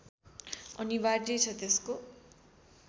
अनिवार्य छ त्यसको